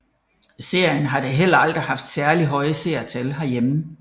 Serien har da heller aldrig haft særligt høje seertal herhjemme